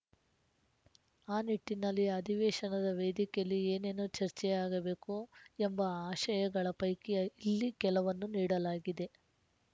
ಆ ನಿಟ್ಟಿನಲ್ಲಿ ಅಧಿವೇಶನದ ವೇದಿಕೆಯಲ್ಲಿ ಏನೇನು ಚರ್ಚೆಯಾಗಬೇಕು ಎಂಬ ಆಶಯಗಳ ಪೈಕಿ ಇಲ್ಲಿ ಕೆಲವನ್ನು ನೀಡಲಾಗಿದೆ